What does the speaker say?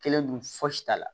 Kelen dun fosi t'a la